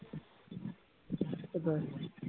কোথায়